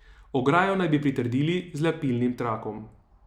Ograjo naj bi pritrdili z lepilnim trakom.